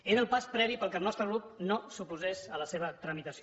era el pas previ perquè el nostre grup no s’oposés a la seva tramitació